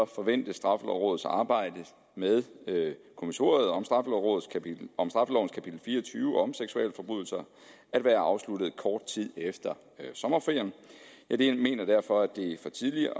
forventes straffelovrådets arbejde med kommissoriet om straffelovens kapitel fire og tyve om seksualforbrydelser at være afsluttet kort tid efter sommerferien jeg mener derfor at det er for tidligt at